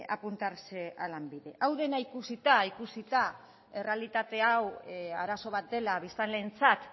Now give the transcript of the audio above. apuntarse a lanbide hau dena ikusita ikusita errealitate hau arazo bat dela biztanleentzat